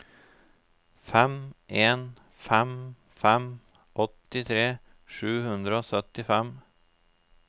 fem en fem fem åttitre sju hundre og syttifem